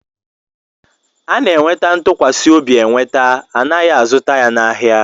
A na-enweta ntụkwasị obi enweta, anaghị azụta ya n'ahia